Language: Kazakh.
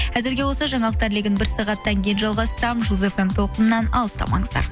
әзірге осы жаңалықтар легін бір сағаттан кейін жалғастырамын жұлдыз фм толқынынан алыстамаңыздар